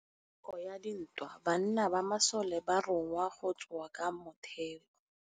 Ka nakô ya dintwa banna ba masole ba rongwa go tswa kwa mothêô.